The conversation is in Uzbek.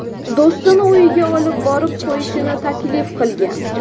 do‘stini uyiga olib borib qo‘yishini taklif qilgan.